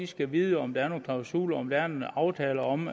skal vide om der er nogle klausuler om der er en aftale om